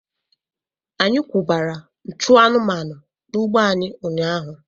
Anyị kwụbara nchụ anụmanụ n'ugbo anyị ụnyaahụ.